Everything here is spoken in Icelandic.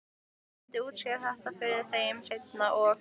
Ég myndi útskýra þetta fyrir þeim seinna- og